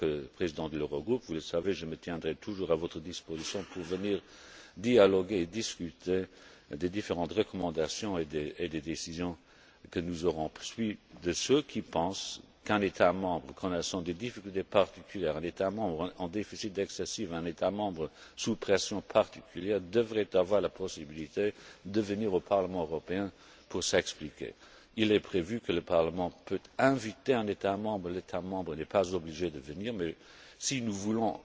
En tant que président de l'Eurogroupe, vous le savez, je me tiendrai toujours à votre disposition pour venir dialoguer et discuter des différentes recommandations et des décisions que nous aurons prises. Je suis de ceux qui pensent qu'un État membre connaissant des difficultés particulières, un État membre en déficit excessif, un État membre sous pression particulière, devrait avoir la possibilité de venir au Parlement européen pour s'expliquer. Il est prévu que le Parlement puisse inviter un État membre l'État membre n'est pas obligé de venir mais si nous voulons